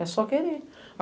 É só querer.